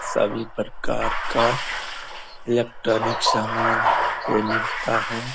सभी प्रकार का इलेक्ट्रॉनिक सामान के मिलता है ।